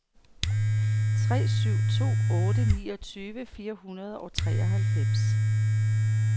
tre syv to otte niogtyve fire hundrede og treoghalvfems